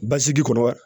Basigi kɔnɔ wa